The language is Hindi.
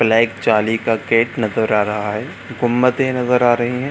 ब्लैक चांदी का गेट नजर आ रहा है। गुम्बदे नजर आ रही है।